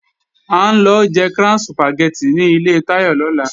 À ń lọ jẹ Crown Sùpàgẹ́tì ní ilé Táyọ̀ lọ́la